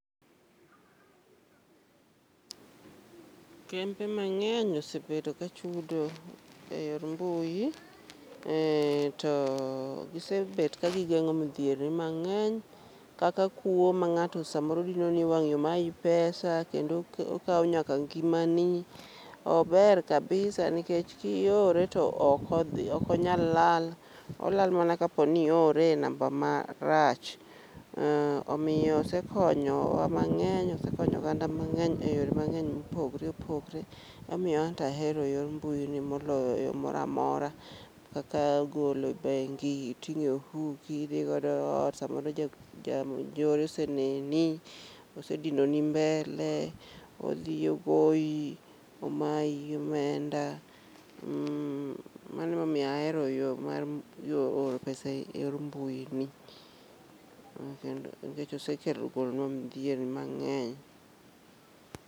Kembe mang'eny osebedo ka chudo e yor mbui, ee to gisebet ka gigeng'o midhiere mang'eny. Kaka kuo ma ng'ato samoro dinoni e wang' yo mayi pesa kendo okawo nyaka ngima ni. Ober kabisa nikech kiore to ok odhi oko nyal lal, olal mana kapo ni iore enamba ma rach. Omiyo osekonyo wa mang'eny, osekonyo oganda mang'eny e yore mang'eny mopogore opogre. Emomiyo antahero yor mbui ni moloyo yo mora amora, kaka golo e bengi iting'o e ofuki idhi godoe ot. Samoro ja njore ose neni, ose dinoni mbele, odhi ogoyi, omayi omenda. Mmh, mano emomiyo ahero yo mar oro pesa e yor mbui ni. Kendo nikech ose kelo golonwa dhier ni mang'eny.